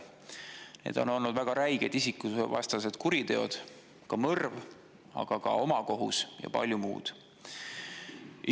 Need on olnud väga räiged isikuvastased kuriteod: mõrv, aga ka omakohus ja palju muud.